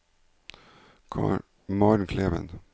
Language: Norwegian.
Maren Kleven